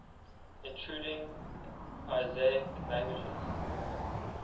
intruding asiatic languages